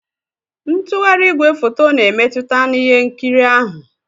Ntugharị igwefoto na-emmetụta na ihe nkiri ahụ.